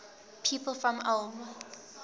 people from ulm